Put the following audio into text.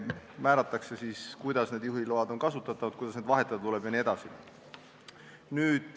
Määratakse kindlaks, kuidas need juhiload on kasutatavad, kuidas neid vahetada tuleb jne.